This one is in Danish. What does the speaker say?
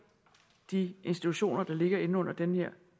de institutioner der ligger inde under den her